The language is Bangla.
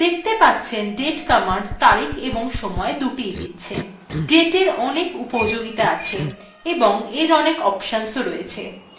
দেখতে পাচ্ছেন date command তারিখ এবং সময় দুটিis দিচ্ছে dateএর অনেক উপযোগিতা আছে এবং এর অনেক অপশন রয়েছে